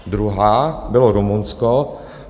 Druhá bylo Rumunsko.